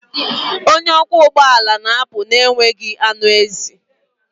Onye ọkwọ ụgbọ ala na-apụ na-enweghị anụ ezi.